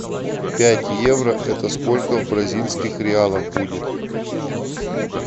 пять евро это сколько в бразильских реалах будет